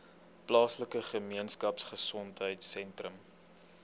plaaslike gemeenskapgesondheid sentrum